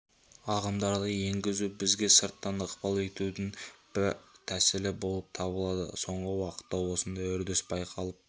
ағымдарды енгізу бізге сырттан ықпал етудің бір тәсілі болып саналады соңғы уақытта осындай үрдіс байқалып